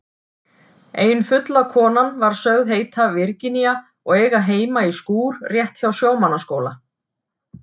Ein fulla konan var sögð heita Virginía og eiga heima í skúr rétt hjá Sjómannaskóla.